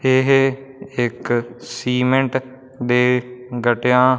ਇਹ ਇੱਕ ਸੀਮੇਂਟ ਦੇ ਗੱਟਿਆਂ--